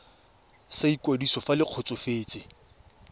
sa ikwadiso fa le kgotsofetse